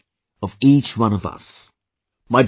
It is the wish of each one of us